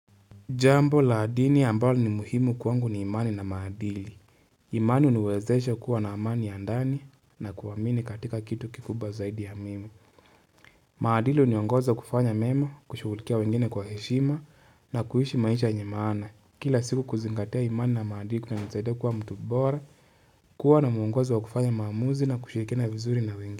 Jambo la adini ambalo ni muhimu kwangu ni imani na maadili. Imani uniwezeesha kuwa na amani ya ndani na kuamini katika kitu kikubwa zaidi ya mimi. Maadili uniongoza kufanya memo, kushugulikia wengine kwa heshima na kuhishi maisha yenye maana. Kila siku kuzingatea imani na maadili kuna nisaidia kuwa mtu bora, kuwa na muongozo wa kufanya mahamuzi na kushiriki vizuri na wengine.